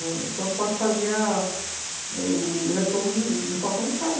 O transporte fazia o retorno no portão de casa.